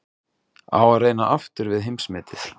Á að reyna aftur við heimsmetið?